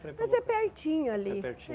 Mas é pertinho ali. É